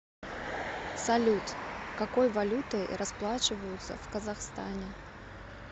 салют какой валютой расплачиваются в казахстане